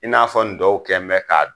I n'a fɔ ndɔw kɛ mɛ k'a dun.